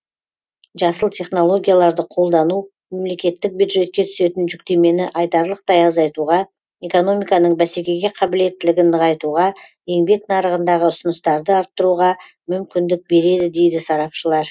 жасыл технологияларды қолдану мемлекеттік бюджетке түсетін жүктемені айтарлықтай азайтуға экономиканың бәсекеге қабілеттілігін нығайтуға еңбек нарығындағы ұсыныстарды арттыруға мүмкіндік береді дейді сарапшылар